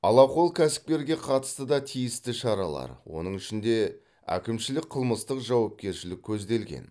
алақол кәсіпкерге қатысты да тиісті шаралар оның ішінде әкімшілік қылмыстық жауапкершілік көзделген